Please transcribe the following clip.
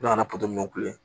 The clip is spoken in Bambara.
U nana ni ye